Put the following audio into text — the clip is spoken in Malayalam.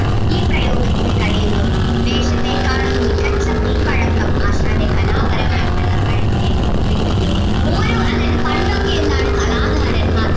ഈ പ്രയോഗത്തിന് കഴിയുന്നു വേഷത്തെക്കാളും മികച്ച മെയ്‌വഴക്കം ആശാന്റെ കലാപരമായിട്ടുള്ള കഴിവിനെ കുറിക്കുന്നു ഓരോ അതായത് പണ്ടൊക്കെ എന്താണ് കലാകാരൻമാർ